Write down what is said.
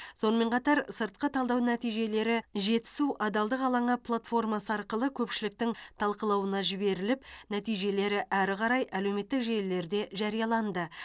сонымен қатар сыртқы талдау нәтижелері жетісу адалдық алаңы платформасы арқылы көпшіліктің талқылауына жіберіліп нәтижелері әрі қарай әлеуметтік желілерде жарияланды